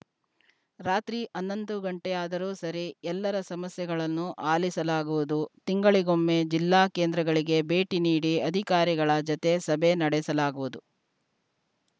ರಾತ್ರಿ ಹನ್ನೊಂದು ಗಂಟೆಯಾದರೂ ಸರಿ ಎಲ್ಲರ ಸಮಸ್ಯೆಗಳನ್ನು ಆಲಿಸಲಾಗುವುದು ತಿಂಗಳಿಗೊಮ್ಮೆ ಜಿಲ್ಲಾ ಕೇಂದ್ರಗಳಿಗೆ ಭೇಟಿ ನೀಡಿ ಅಧಿಕಾರಿಗಳ ಜತೆ ಸಭೆ ನಡೆಸಲಾಗುವುದು